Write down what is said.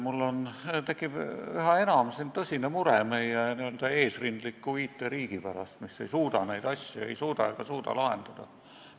Mul tekib üha enam tõsine mure meie n-ö eesrindliku IT-riigi pärast, mis ei suuda ega suuda neid asju lahendada.